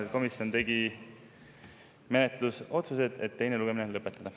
Ja komisjon tegi menetlusotsuse teine lugemine lõpetada.